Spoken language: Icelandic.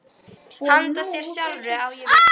Handa þér sjálfri, á ég við?